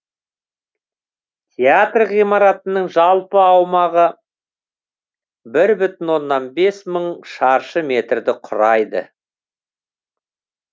театр ғимаратының жалпы аумағы бір бүтін оннан бес мың шаршы метрді құрайды